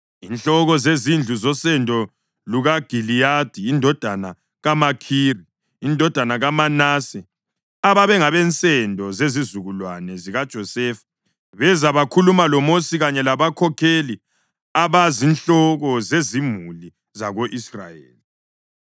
Inhloko zezindlu zosendo lukaGiliyadi indodana kaMakhiri, indodana kaManase, ababengabensendo zezizukulwane zikaJosefa, beza bakhuluma loMosi kanye labakhokheli, abazinhloko zezimuli zako-Israyeli.